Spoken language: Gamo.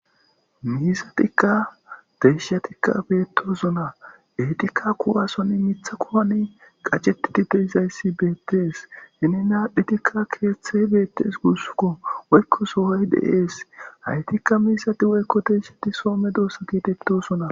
Miisatikka deyshatikka beettosuna etikka kuwasonni mitha koani qaceti tide izayssi beettees hini naadphitikka keeththey beettes guussuko woykko sohoy deees haytikka miisati woykko teeshati soome doossa keetettosuna.